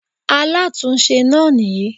Alátúnse náà nìyí